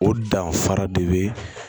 O danfara de be